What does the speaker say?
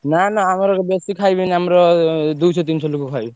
ନା ନା ଆମର ବେଶୀ ଖାଇବେନି ଆମର ଦୁଇଶହ ତିନିଶହ ଲୋକ ଖାଇବେ।